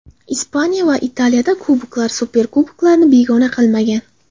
Ispaniya va Italiyada kuboklar, superkuboklarni begona qilmagan.